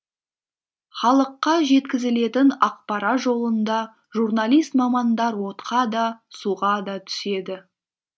халыққа жеткізілетін ақпарат жолында журналист мамандар отқа да суға да түседі